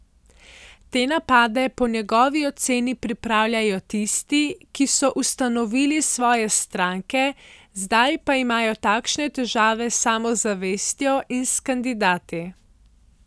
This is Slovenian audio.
Te napade po njegovi oceni pripravljajo tisti, ki so ustanovili svoje stranke, zdaj pa imajo takšne težave s samozavestjo in s kandidati.